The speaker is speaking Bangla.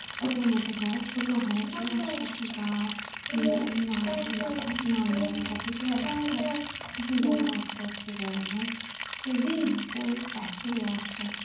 ছোট মত হয় ছোট হয় যেমন আস্তে আস্তে বড় হয় ওই বাছুরও আস্তে আস্তে